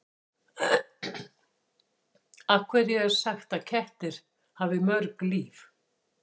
Af hverju er sagt að kettir hafi mörg líf?